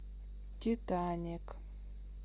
титаник